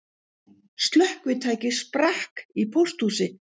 Slökkvitæki sprakk í pósthúsi